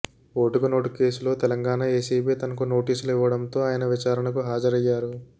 ఓటుకు నోటు కేసులో తెలంగాణ ఎసిబి తనకు నోటీసులు ఇవ్వడంతో ఆయన విచారణకు హాజరయ్యారు